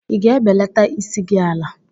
Ị ga-ebelata isi gị ala?